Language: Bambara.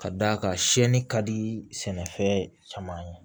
Ka d'a kan siyɛnni ka di sɛnɛfɛn caman ye